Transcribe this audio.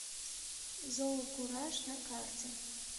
зоокураж на карте